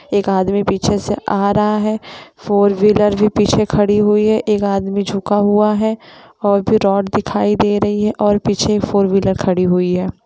एक आदमी पीछे से आ रहा है फॉर व्हीलर भी पीछे खड़ी हुई हैएक आदमी झुका हुआ है और रॉड दिखाई दे रही है और पीछे फॉर व्हीलर खड़ी हुई है।